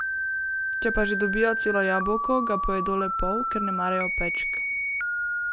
Če pa že dobijo celo jabolko, ga pojedo le pol, ker ne marajo pečk.